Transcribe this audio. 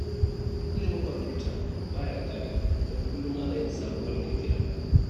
Ilimin kwamfuta ba ya ƙarewa don kullum ana yin sabuwar ƙirƙira